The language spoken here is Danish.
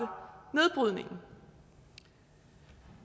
nedbrydningen